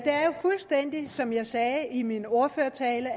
fuldstændig som jeg sagde i min ordførertale